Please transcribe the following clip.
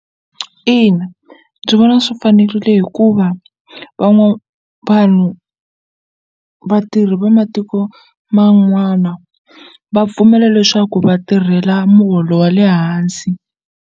Ina ndzi vona swi fanerile hikuva vanhu vatirhi va matiko man'wana va pfumela leswaku vatirhela muholo wa le hansi.